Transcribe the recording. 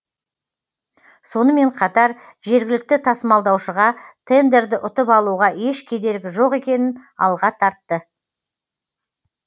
сонымен қатар жергілікті тасымалдаушыға тендерді ұтып алуға еш кедергі жоқ екенін алға тартты